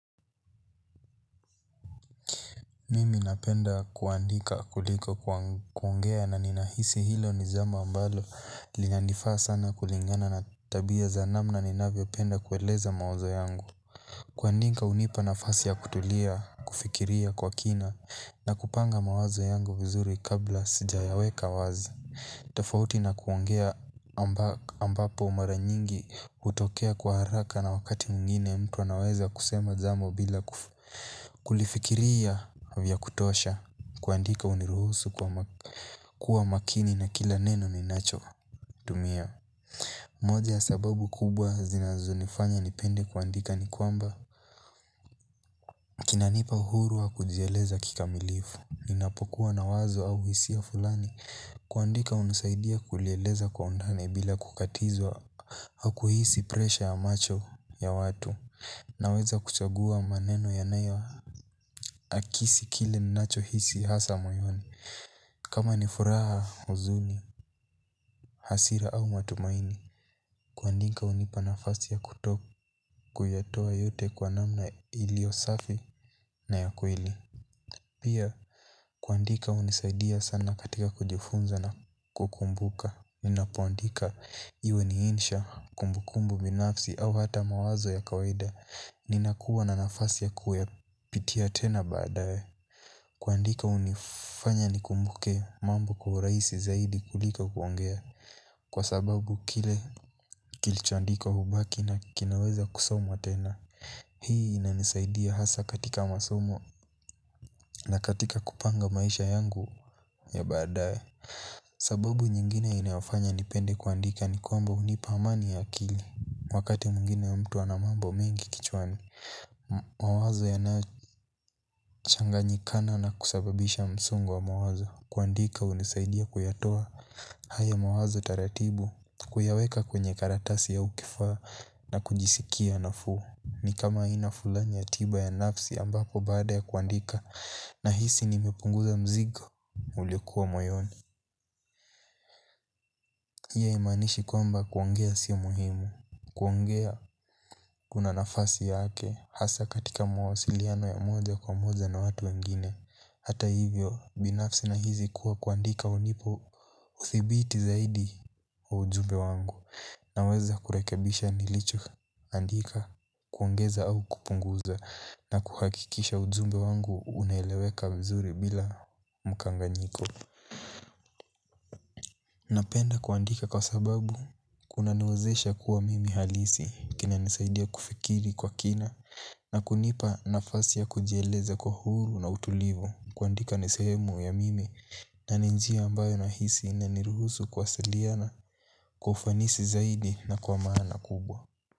Mimi napenda kuandika kuliko kuongea na ninahisi hilo ni jambo ambalo lina nifaa sana kulingana na tabia za namna ninavyo penda kueleza mawazo yangu. Kuandika unipa nafasi ya kutulia, kufikiria kwa kina. Na kupanga mawazo yangu vizuri kabla sijayaweka wazi. Tafauti na kuongea ambapo mara nyingi hutokea kwa haraka na wakati mwingine mtu anaweza kusema jambo bila kulifikiria vya kutosha kuandika uniruhusu kuwa makini na kila neno ninacho tumia. Moja sababu kubwa zinazo nifanya nipende kuandika ni kwamba kinanipa uhuru wa kujeleza kikamilifu. Ninapokuwa na wazo au hisia fulani. Kuandika hunisaidia kulieleza kwa undani bila kukatizwa au kuhisi presha ya macho ya watu. Naweza kuchagua maneno yanayo akisi kile nacho hisi hasa mayoni. Kama ni furaha huzuni, hasira au matumaini, kuandika unipa nafasi ya kutokuyatoa yote kwa namna ilio safi na ya kweli. Pia kuandika hunisaidia sana katika kujifunza na kukumbuka. Ninapoandika iwe ni insha kumbukumbu binafsi au hata mawazo ya kawaida. Ninakuwa na nafasi ya kuwa pitia tena baadaye kuandika hunifanya nikumbuke mambo kwa urahisi zaidi kuliko kuongea kwa sababu kile kilicho andikwa hubaki na kinaweza kusomwa tena. Hii inanisaidia hasa katika masomo na katika kupanga maisha yangu ya baadae. Sababu nyingine inayofanya nipende kuandika ni kwamba hunipa amani ya akili. Wakati mwingine mtu ana mambo mengi kichwani. Mawazo yanayochanganyikana na kusababisha msongo wa mawazo. Kuandika unisaidia kuyatoa, haya mawazo taratibu, kuyaweka kwenye karatasi au kifaa na kujisikia nafuu. Ni kama aina fulani ya tiba ya nafsi ambapo baada ya kuandika nahisi nimepunguza mzigo, uliokuwa moyoni. Hii aimanishi kwamba kuongea sio muhimu, kuongea kuna nafasi yake, hasa katika mawasiliano ya moja kwa moja na watu wengine. Hata hivyo, binafsi na hizi kuwa kuandika unipa uthibiti zaidi wa ujumbe wangu. Naweza kurekabisha nilicho, andika kuongeza au kupunguza na kuhakikisha ujumbe wangu unaeleweka vizuri bila mkanganyiko. Napenda kuandika kwa sababu kuna niwezesha kuwa mimi halisi. Kina nisaidia kufikiri kwa kina. Na kunipa nafasi ya kujeleza kwa huru na utulivu. Kuandika niseemu ya mimi. Na ni njia ambayo nahisi inaniruhusu kuwasiliana. Kwa ufanisi zaidi na kwa maana kubwa.